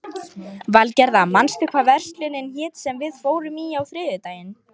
Valgerða, manstu hvað verslunin hét sem við fórum í á þriðjudaginn?